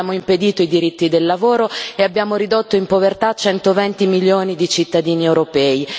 Abbiamo impedito i diritti del lavoro e abbiamo ridotto in povertà 120 milioni di cittadini europei.